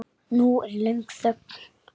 Nú er löng þögn.